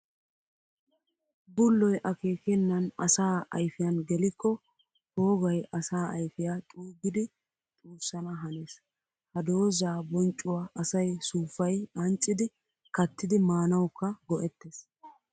Bulloy akeekkenan asaa ayfiyan gellikko poogay asaa ayfiya xuugiddi xuussana hanees. Ha dooza bonccuwa asay suufayi ancciddi kattiddi maanawukka go'ettes.